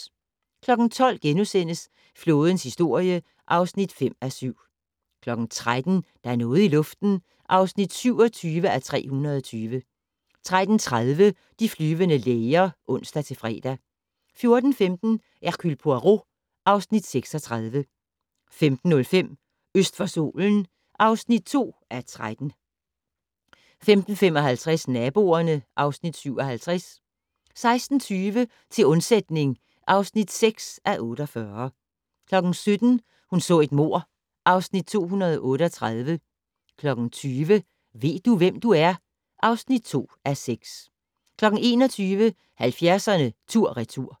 12:00: Flådens historie (5:7)* 13:00: Der er noget i luften (27:320) 13:30: De flyvende læger (ons-fre) 14:15: Hercule Poirot (Afs. 36) 15:05: Øst for solen (2:13) 15:55: Naboerne (Afs. 57) 16:20: Til undsætning (6:48) 17:00: Hun så et mord (Afs. 238) 20:00: Ved du, hvem du er? (2:6) 21:00: 70'erne tur/retur